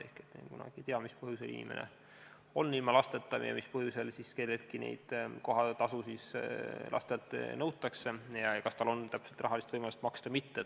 Ehk kunagi ei tea, mis põhjusel on inimene ilma lasteta või mis põhjusel siis kelleltki kohatasusid nõutakse ja kas tal on rahalist võimalust neid maksta või mitte.